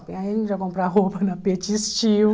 Aí a gente ia comprar roupa na Petit Style.